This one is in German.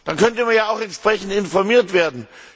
Dann könnte man ja auch entsprechend informiert werden.